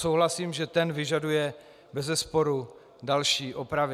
Souhlasím, že ten vyžaduje bezesporu další opravy.